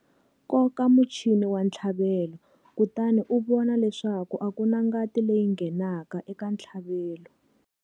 Koka muchini wa ntlhavelo kutani u vona leswaku a ku na ngati leyi nghenaka eka ntlhavelo.